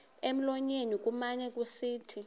emlonyeni kumane kusithi